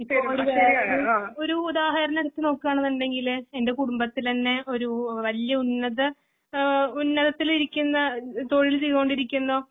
ഒരുതാഹരണം എടുത്തുനോക്കുകയാണെന്നുണ്ടെങ്കില് എന്റെ കുടുംബത്തിലെ തന്നെ ഒരു വല്യ ഉന്നത ആ ഉന്നതത്തിലിരിക്കുന്ന തൊഴിൽചെയ്തോണ്ടിരിക്കുന്ന